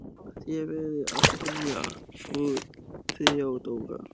Þér verðið að skilja, frú Theodóra.